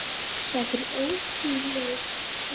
Þetta er ótrúleg tala.